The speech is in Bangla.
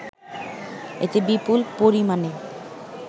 এতে বিপুল পরিমাণে